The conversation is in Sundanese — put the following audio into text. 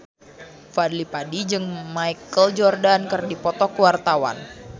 Fadly Padi jeung Michael Jordan keur dipoto ku wartawan